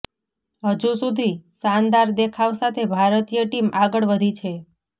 હજુ સુધી શાનદાર દેખાવ સાથે ભારતીય ટીમ આગળ વધી છે